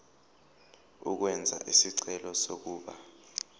ukwenza isicelo sokuba